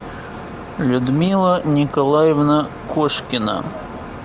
людмила николаевна кошкина